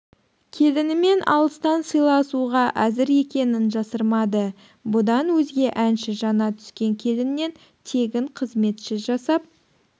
келінімен алыстан сыйласуға әзір екенін жасырмады бұдан өзге әнші жаңа түскен келіннен тегін қызметші жасап